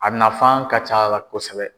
A nafan ka c'a la kosɛbɛ.